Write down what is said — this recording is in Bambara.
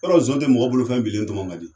Yɔrɔ Zon te mɔgɔ bolofɛn bilen tɔmɔ ka di?